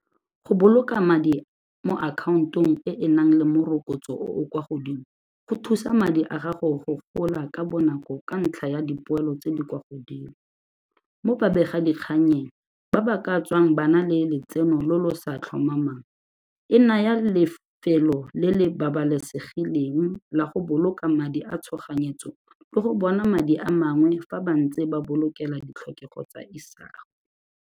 Go boloka madi mo account-ong e e nang le morokotso o o kwa godimo go thusa madi a gago go gola ka bonako ka ntlha ya dipoelo tse di kwa godimo. Mo babegadikganyeng ba ba ka tswang ba nna le letseno lo lo sa tlhomamang, e naya lefelo le le babalesegileng la go boloka madi a tshoganyetso le go bona madi a mangwe fa ba ntse ba bolokela ditlhokego tsa isago.